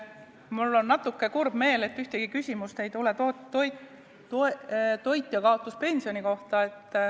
Mul on natuke kurb meel, et ühtegi küsimust ei ole tulnud toitjakaotuspensioni kohta.